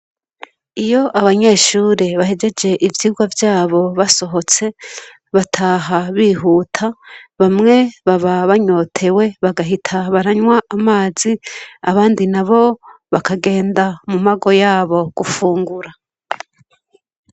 Iyo abanyeshure bahejeje ivyigwa vyabo basohotse, bataha bihuta, bamwe baba banyotewe bagahita baranywa amazi abandi nabo bakagenda mu mago yabo gufungura.